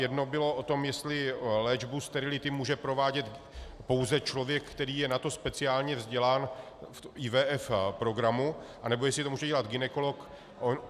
Jedno bylo o tom, jestli léčbu sterility může provádět pouze člověk, který je na to speciálně vzdělán v IVF programu, anebo jestli to může dělat gynekolog.